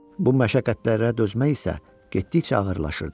Bu məşəqqətlərə dözmək isə getdikcə ağırlaşırdı.